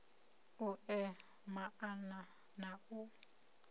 u ea maana na u